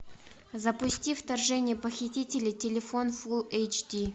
запусти вторжение похитителей телефон фулл эйч ди